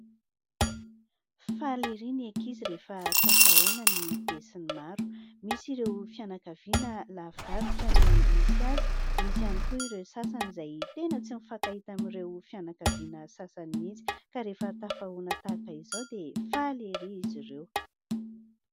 Faly ery ny ankizy rehefa tafahoana ny be sy ny maro. Misy ireo fianakaviana lavidavitra no misy azy, misy ihany koa ireo sasany izay tena tsy mifankahita amin'ireo fianakaviana sasany mihitsy ka rehefa tafahoana tahaka izao dia faly ery izy ireo.